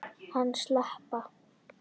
Hann slapp.